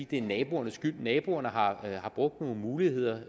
det er naboernes skyld naboerne har brugt nogle muligheder